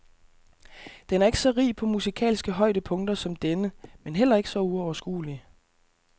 Den er ikke så rig på musikalske højdepunkter som denne, men heller ikke så uoverskuelig.